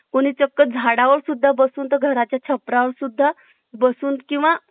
कोणी चक्क झाडा वरसुद्धा बसून तर घराच्या छपरा सुद्धा बसून किंवा